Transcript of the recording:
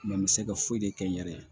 n bɛ se ka foyi de kɛ n yɛrɛ ye